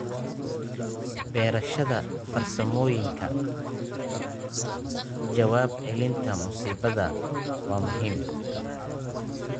Barashada farsamooyinka ka jawaab celinta musiibada waa muhiim.